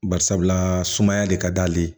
Bari sabula sumaya de ka d'ale ye